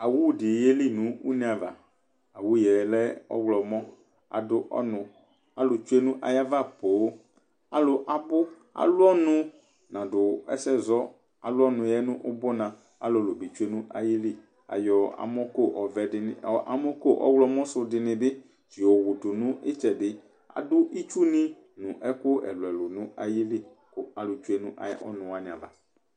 owuɖi yelii nʋ une' ava Owuelɛ, ɔɣlɔmɔAɖʋ ɔnʋ k'alʋ tsue n'ayava poooɔalʋwa abʋ alʋ ɔnʋ naɖʋ ɛsɛzɔ, alʋ ɔnʋɛ nʋ ʋbuna Aalʋlubi tsue' nʋ ayiliAyɔ amɔko ɔvɛɖini, amɔko ɔɣlɔmɔ su ɖinibi yɔwuɖʋ nʋ itsɛɖiAɖʋ itsuni nʋ ɛkʋ ɛlʋɛlʋ nʋ ayili kʋ ayɔ tsue' n'ɔnʋ wuaniava